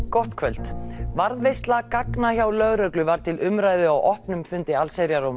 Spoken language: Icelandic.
gott kvöld varðveisla gagna hjá lögreglu var til umræðu á opnum fundi allsherjar og